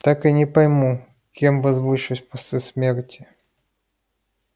так и не пойму кем возвышусь после смерти